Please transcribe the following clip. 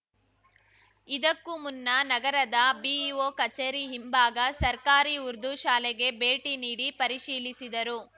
ಇದಕ್ಕು ಮುನ್ನ ನಗರದ ಬಿಇಒ ಕಚೇರಿ ಹಿಂಭಾಗ ಸರ್ಕಾರಿ ಉರ್ದುಶಾಲೆಗೆ ಭೇಟಿ ನೀಡಿ ಪರಿಶೀಲಿಸಿದರು